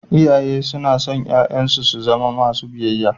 Iyaye suna son 'ya'yansu su zama masu biyayya.